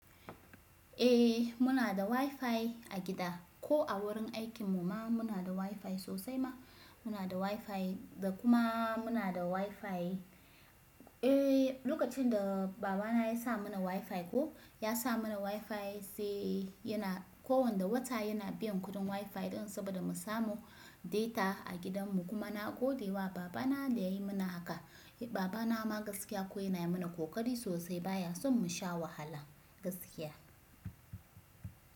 Eh muna da WiFi a gida ko a wurin aikin mu ma muna da WiFi sosai ma muna da WiFi da kuma muna da WiFi. Eh lokacin da baba na ya sa mana WiFi ko ya sa mana WiFi sai yana kowanda wata yana biyan kuɗin WiFi ɗin saboda mu samu data a gidan mu. Kuma na gode wa baba na da yayi mana haka. Baba na ma gaskiya ko yana yi mana kokari sosai baya son mu sha wahala gaskiya.